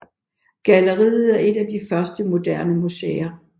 Galleriet er et af de første moderne museer